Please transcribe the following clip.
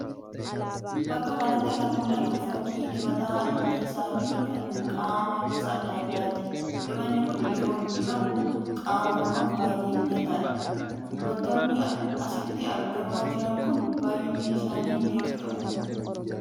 Bakka kanatti kan mul'atu fakkii dibata rifeensaa fi kan qaamaa gosa adda addaati dibatni kun yeroo dibamu qaama namaaf baay'ee mijataadha. Dibatoonni asitti argamaa jiran kun baayyinni isaanii meeqa ta'u?